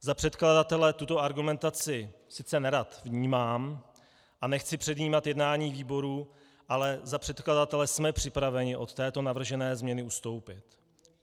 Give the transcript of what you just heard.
Za předkladatele tuto argumentaci sice nerad vnímám a nechci předjímat jednání výboru, ale za předkladatele jsme připraveni od této navržené změny ustoupit.